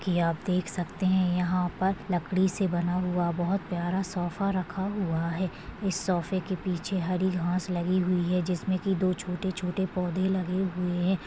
की आप देख सकते है यहा पर लकड़ी से बना हुआ बहुत प्यारा सोफा रखा हुआ है इस सोफे के पीछे हरी घास लगी हुई है जिसमे की दो छोटे-छोटे पौधे लगे हुए है।